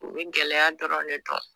U bɛ gɛlɛya dɔrɔn de dɔn.